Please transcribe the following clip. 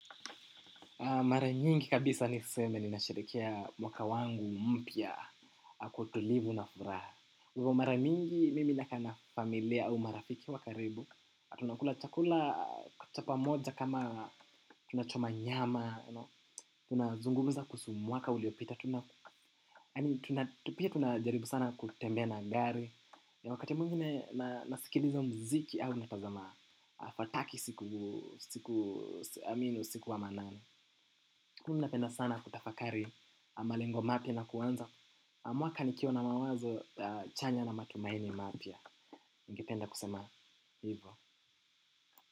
Mara nyingi kabisa niseme ninasherehekea mwaka wangu mpya kwa utulivu na furaha hivo mara mingi mimi nakaa na familia au marafiki wa karibu. Au tunakula chakula cha pamoja kama tunachoma nyama. Tunazungumza kuhusu mwaka uliopita. Tu pia tunajaribu sana kutembea na gari. Ya wakati mwingine nasikiliza mziki au natazama fataki siku i mean usiku wa manane napenda sana kutafakari malengo mapya na kuanza mwaka nikiwa na mawazo chanya na matumaini mapya ningependa kusema hivyo.